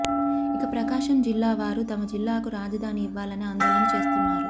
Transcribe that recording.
ఇక ప్రకాశం జిల్లావారు తమ జిల్లాకు రాజధాని ఇవ్వాలని ఆందోళన చేస్తున్నారు